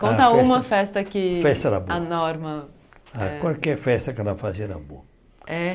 Conta uma festa que a Norma... Qualquer festa que ela fazia era boa. É